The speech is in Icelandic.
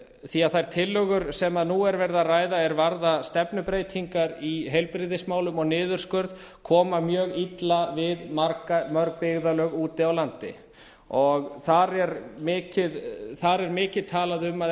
því að þær tillögur sem nú er verið að ræða er varða stefnubreytingar í heilbrigðismálum og niðurskurð koma mjög illa við mörg byggðarlög úti á landi þar er mikið talað um að